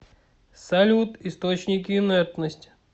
салют источники инертность